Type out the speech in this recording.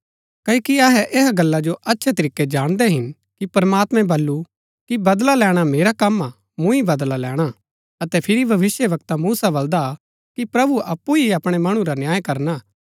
क्ओकि अहै ऐहा गल्ला जो अच्छै तरीकै जाणदै हिन कि प्रमात्मैं बल्लू कि बदला लैणा मेरा कम हा मूँ ही बदला लैणा अतै फिरी भविष्‍यवक्ता मूसा बलदा हा कि प्रभु अप्पु ही अपणै मणु रा न्याय करना